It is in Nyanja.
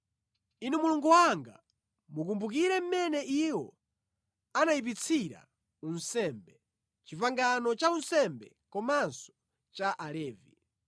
Inu Mulungu wanga, mukumbukire mmene iwo anayipitsira unsembe, pangano la unsembe komanso la Alevi.